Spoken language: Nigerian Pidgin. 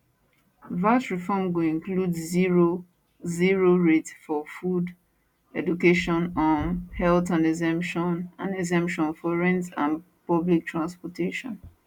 vat reform go include zero 0 rate for food education um health and exemption and exemption for rent and public transportation